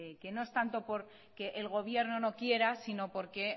que no es tanto por que el gobierno no quiera sino porque